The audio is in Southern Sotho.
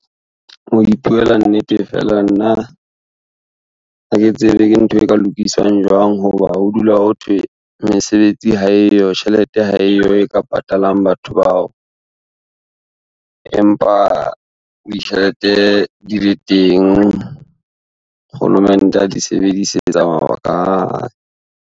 Ho ipuela nnete feela nna, ha ke tsebe ke ntho e ka lokisang jwang ho ba ho dula ho thwe, mesebetsi ha eyo, tjhelete ha eyo e ka patalang batho bao. Empa ditjhelete di le teng, Kgolomente a di sebedisetsa mabaka a .